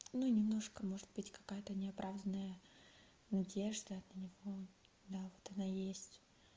ну немножко может быть какая-то неоправданная надежда для него да вот она есть